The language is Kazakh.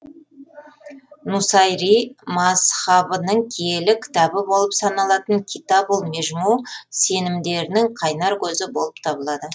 нусайри мазһабының киелі кітабы болып саналатын китабул межму сенімдерінің қайнар көзі болып табылады